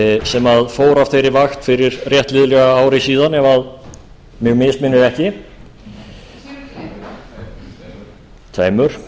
sem fór af þeirri vakt fyrir rétt liðlega ári síðan ef mig misminnir ekki tveimur og